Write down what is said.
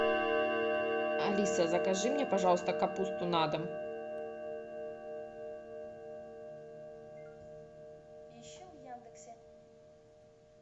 алиса закажи мне пожалуйста капусту на дом